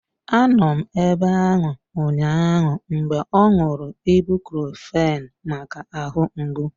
Anọ m ebe ahụ ụnyaahụ mgbe ọ ṅụrụ ibucrofen maka ahụ mgbu.